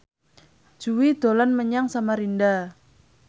Jui dolan menyang Samarinda